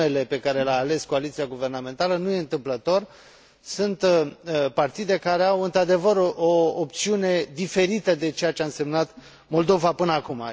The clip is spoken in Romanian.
Numele pe care l a ales coaliția guvernamentală nu este întâmplător sunt partide care au într adevăr o opțiune diferită de ceea ce a însemnat Moldova până acum.